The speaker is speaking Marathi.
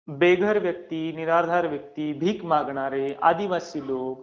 बेघर व्यक्ती, निराधार व्यक्ती, भीक मागणारे, आदिवासी लोक.